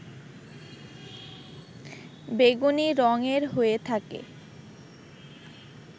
বেগুনি রং এর হয়ে থাকে